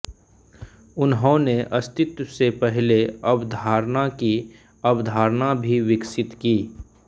उन्होंने अस्तित्व से पहले अवधारणा की अवधारणा भी विकसित की